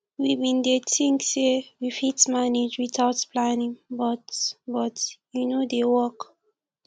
we bin dey tink sey we fit manage witout planning but but e no dey work